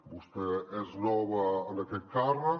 vostè és nova en aquest càrrec